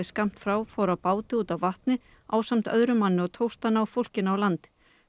skammt frá fór á báti út á vatnið ásamt öðrum manni og tókst að ná fólkinu á land